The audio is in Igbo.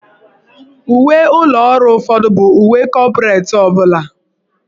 Uwe ụlọ ọrụ ụfọdụ bụ uwe kọpretị ọ bụla.